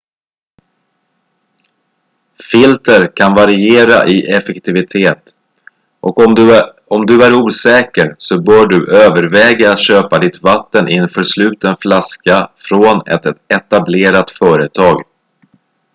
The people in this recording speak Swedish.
filter kan variera i effektivitet och om du är osäker så bör du överväga att köpa ditt vatten i en försluten flaska från ett etablerat företag